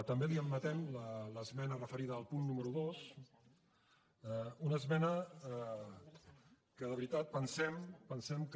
també li admetem l’esmena referida al punt número dos una esmena que de veritat pensem que